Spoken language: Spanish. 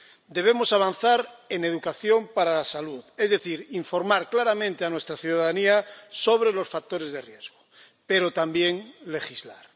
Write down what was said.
Debemos avanzar en educación para la salud, es decir, informar claramente a nuestra ciudadanía sobre los factores de riesgo, pero también legislar.